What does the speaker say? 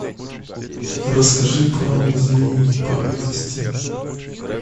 расскажи про музеи поблизости